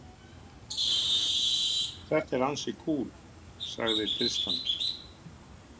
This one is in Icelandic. Þetta er ansi kúl, sagði Tristan.